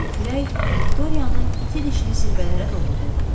Güclü külək Viktoriyanı iti dişli zirvələrə doğru qovurdu.